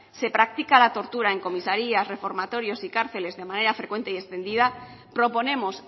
se practica la tortura en comisarías reformatorios y cárceles de manera frecuente y extendida proponemos